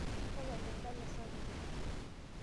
Tapala endala sapuk.